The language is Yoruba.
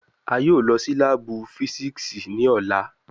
A yoo lọ si laabu fisiksi ni ọla